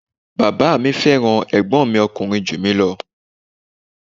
Bàbá mi fẹ́ràn ẹ̀gbọ́n mi ọkùnrin ju mi ​​lọ.